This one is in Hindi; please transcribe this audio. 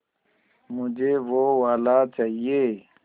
मुझे वो वाला चाहिए